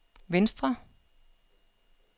venstre